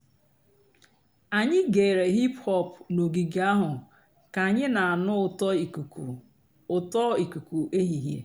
ányị́ gèéré hìp-hòp n'ògíge àhú́ kà ànyị́ nà-ànụ́ ụ́tọ́ ìkùkú ụ́tọ́ ìkùkú èhìhè.